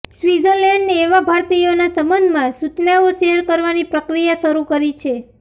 સ્વિત્ઝરલેન્ડે એવા ભારતીયોના સબંધમાં સૂચનાઓ શેર કરવાની પ્રક્રિયા શરૂ કરી છે